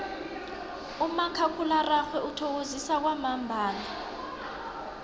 umakhakhulararhwe uthokozisa kwamambala